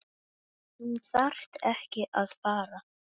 Þú þarft ekki að fara